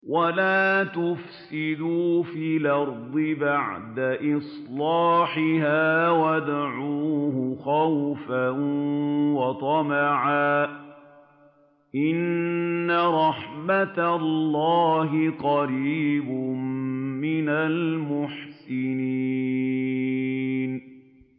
وَلَا تُفْسِدُوا فِي الْأَرْضِ بَعْدَ إِصْلَاحِهَا وَادْعُوهُ خَوْفًا وَطَمَعًا ۚ إِنَّ رَحْمَتَ اللَّهِ قَرِيبٌ مِّنَ الْمُحْسِنِينَ